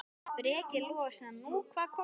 Breki Logason: Nú, hvað kom fyrir hana?